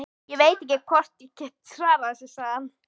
Ég veit ekki hvort ég get svarað þessu, sagði hann.